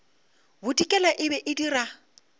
bodikela e be e dira